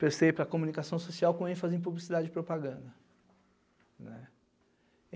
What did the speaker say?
Prestei para comunicação social com ênfase em publicidade e propaganda, né.